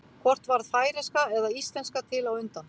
hvort varð færeyska eða íslenska til á undan